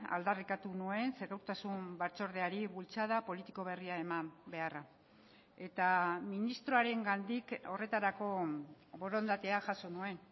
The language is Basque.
aldarrikatu nuen segurtasun batzordeari bultzada politiko berria eman beharra eta ministroarengandik horretarako borondatea jaso nuen